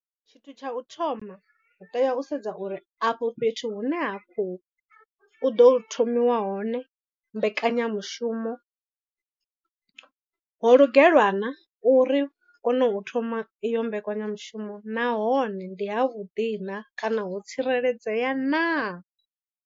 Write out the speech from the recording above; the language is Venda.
Tshithu tsha u thoma hu tea u sedza uri afho fhethu hune ha khou u ḓo thomiwa hone mbekanyamushumo. Ho lugelwa na uri kone u thoma iyo mbekanyamushumo nahone ndi ha vhuḓi na kana ho tsireledzea naa.